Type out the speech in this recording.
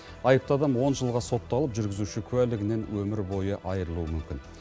айыпты адам он жылға сотталып жүргізуші куәлігінен өмір бой айырылуы мүмкін